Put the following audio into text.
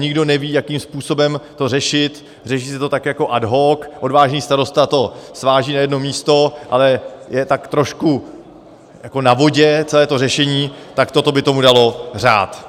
Nikdo neví, jakým způsobem to řešit, řeší se to tak jako ad hoc, odvážný starosta to sváží na jedno místo, ale je tak trošku jako na vodě celé to řešení, tak toto by tomu dalo řád.